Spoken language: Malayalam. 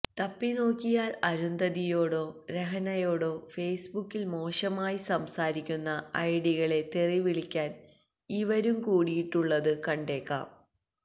തപ്പി നോക്കിയാൽ അരുന്ധതിയോടോ രഹന യോടോ ഫേസ്ബുക്കിൽ മോശമായി സംസാരിക്കുന്ന ഐഡികളെ തെറിവിളിക്കാൻ ഇവരും കൂടിയിട്ടുള്ളത് കണ്ടേക്കാം